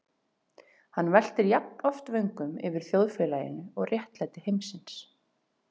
Hann veltir jafnoft vöngum yfir þjóðfélaginu og réttlæti heimsins.